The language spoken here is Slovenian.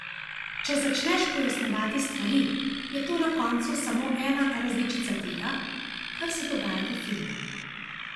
Če začneš pojasnjevati stvari, je to na koncu samo ena različica tega, kar se dogaja v filmu.